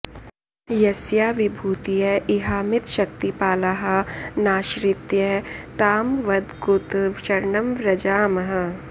यस्या विभूतय इहामितशक्तिपालाः नाश्रित्य तां वद कुत शरणं व्रजामः